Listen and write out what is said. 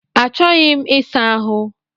Achọghị m isa ahụ